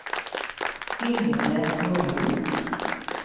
Yngve Norin